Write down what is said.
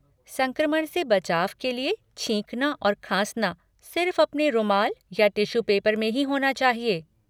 संक्रमण से बचाव के लिये छींकना और खाँसना सिर्फ़ अपने रुमाल ये टिश्यू पेपर में ही होना चाहिए।